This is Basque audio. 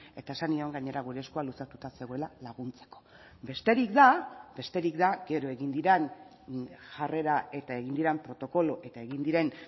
eta esan nion gainera gure eskua luzatuta zegoela laguntzeko besterik da besterik da gero egin diren jarrera eta egin diren protokolo eta egin diren